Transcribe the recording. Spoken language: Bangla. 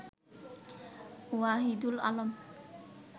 ওয়াহিদুল আলম